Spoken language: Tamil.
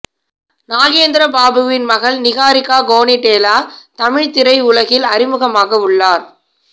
நாகேந்திர பாபுவின் மகள் நிஹாரிகா கோனிடேலா தமிழ் திரை உலகில் அறிமுகமாக உள்ளார்